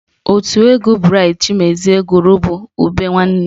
Otu egwu Braịt Chimezie gụrụ bụ Ube Nwanne